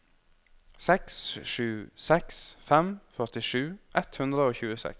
seks sju seks fem førtisju ett hundre og tjueseks